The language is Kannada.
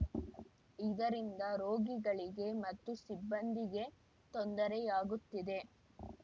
ಇದರಿಂದ ರೋಗಿಗಳಿಗೆ ಮತ್ತು ಸಿಬ್ಬಂದಿಗೆ ತೊಂದರೆಯಾಗುತ್ತಿದೆ